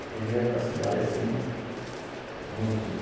Aprendi a andar na cidade, assim, muito, muito.